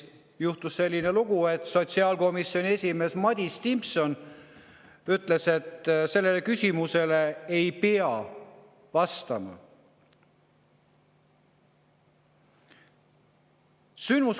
Juhtus selline lugu, et sotsiaalkomisjoni esimees Madis Timpson ütles, et sellele küsimusele ei pea vastama.